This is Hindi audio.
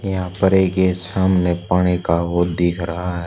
यहां पर एक ये सामने पानी का वो दिख रहा है।